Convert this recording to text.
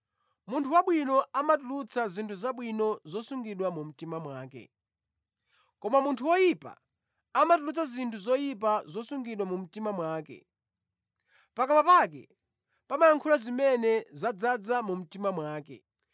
Munthu wabwino amatulutsa zinthu zabwino zosungidwa mu mtima mwake, koma munthu oyipa amatulutsa zinthu zoyipa zosungidwa mu mtima mwake. Pakamwa pake pamayankhula zimene zadzaza mu mtima mwake.